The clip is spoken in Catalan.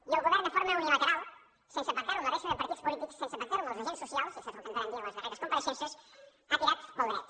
i el govern de forma unilateral sense pactar ho amb la resta de partits polítics sense pactar ho amb els agents socials i això és el que ens varen dir en les darreres compareixences ha tirat pel dret